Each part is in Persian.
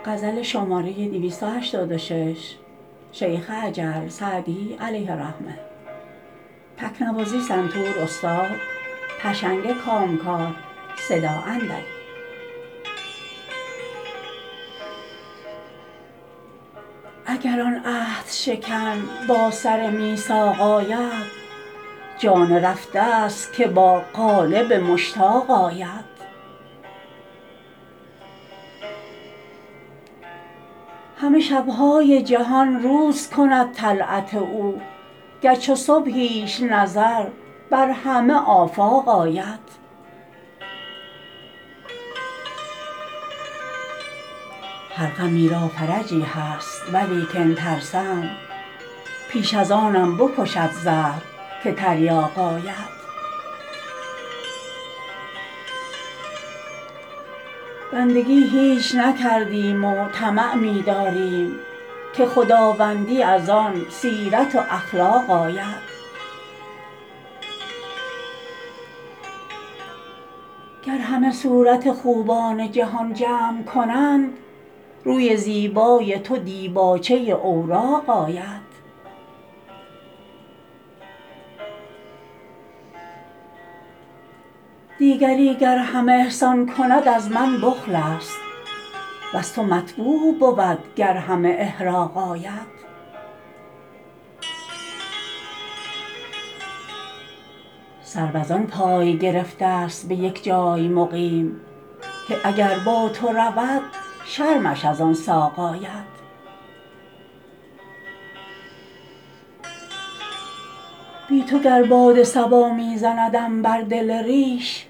اگر آن عهدشکن با سر میثاق آید جان رفته ست که با قالب مشتاق آید همه شب های جهان روز کند طلعت او گر چو صبحیش نظر بر همه آفاق آید هر غمی را فرجی هست ولیکن ترسم پیش از آنم بکشد زهر که تریاق آید بندگی هیچ نکردیم و طمع می داریم که خداوندی از آن سیرت و اخلاق آید گر همه صورت خوبان جهان جمع کنند روی زیبای تو دیباچه اوراق آید دیگری گر همه احسان کند از من بخل است وز تو مطبوع بود گر همه احراق آید سرو از آن پای گرفته ست به یک جای مقیم که اگر با تو رود شرمش از آن ساق آید بی تو گر باد صبا می زندم بر دل ریش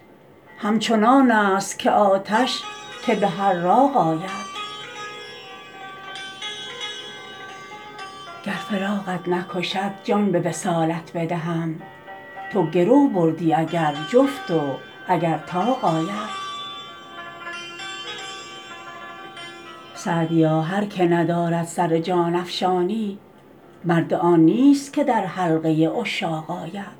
همچنان است که آتش که به حراق آید گر فراقت نکشد جان به وصالت بدهم تو گرو بردی اگر جفت و اگر طاق آید سعدیا هر که ندارد سر جان افشانی مرد آن نیست که در حلقه عشاق آید